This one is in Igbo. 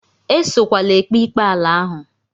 Esokwala ekpe ikpe ala ahụ!